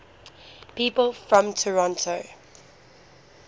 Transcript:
people from toronto